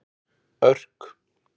Örk